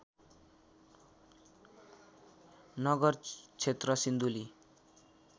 नगर क्षेत्र सिन्धुली